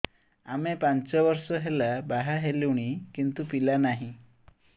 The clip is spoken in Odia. ଆମେ ପାଞ୍ଚ ବର୍ଷ ହେଲା ବାହା ହେଲୁଣି କିନ୍ତୁ ପିଲା ନାହିଁ